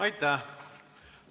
Aitäh!